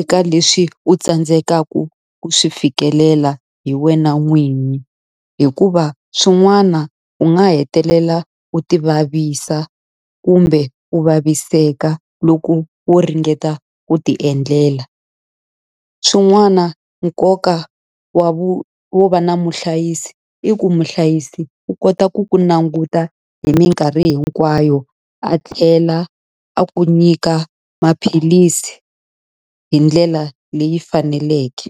eka leswi u tsandzekaka ku swi fikelela hi wena n'winyi. Hikuva swin'wana u nga hetelela u ti vavisa kumbe ku vaviseka loko wo ringeta ku ti endlela. Swin'wana nkoka wa wo va na muhlayisi i ku muhlayisi wa kota ku ku languta hi minkarhi hinkwayo, a tlhela a ku nyika maphilisi hi ndlela leyi faneleke.